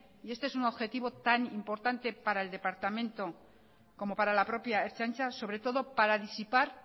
y este es un objetivo tan importante para el departamento como para la propia ertzaintza sobre todo para disipar